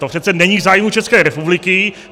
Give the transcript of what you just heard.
To přece není v zájmu České republiky.